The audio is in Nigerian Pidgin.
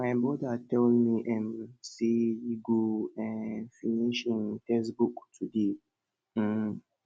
my brother tell me um say e go um finish im textbook today um